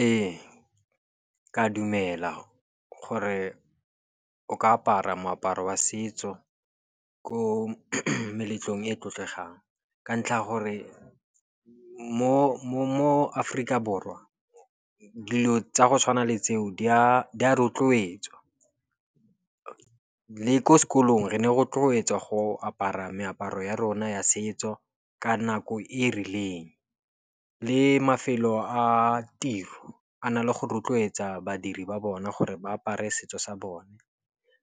Ee, ke a dumela gore o ka apara moaparo wa setso ko meletlong e tlotlegang, ka ntlha ya gore mo Aforika Borwa, dilo tsa go tshwana le tseo di a rotloetswa. Le ko sekolong re ne rotloetswa go apara meaparo ya rona ya setso ka nako e rileng. Le mafelo a tiro a na le go rotloetsa badiri ba bona gore ba apare setso sa bone.